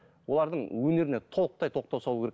олардың өнеріне толықтай тоқтау салу керек